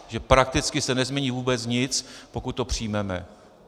Že prakticky se nezmění vůbec nic, pokud to přijmeme.